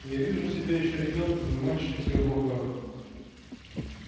я вижу себя ещё ребёнком и мать с шитьём в руках